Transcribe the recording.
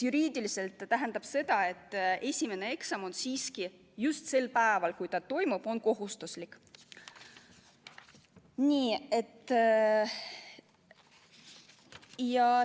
Juriidiliselt tähendab see seda, et esimene eksam on siiski sel päeval, kui ta toimub, kohustuslik.